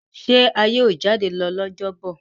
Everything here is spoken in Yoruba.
ṣe a yíò jade lọ ní Ọjọ́ Bọ̀?